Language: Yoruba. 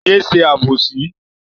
Yé ṣe àbòsí!